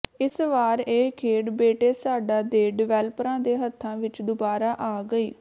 ਇਸ ਵਾਰ ਇਹ ਖੇਡ ਬੇਟੇਸਾਡਾ ਦੇ ਡਿਵੈਲਪਰਾਂ ਦੇ ਹੱਥਾਂ ਵਿੱਚ ਦੁਬਾਰਾ ਆ ਗਈ